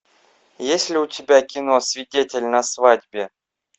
есть ли у тебя кино свидетель на свадьбе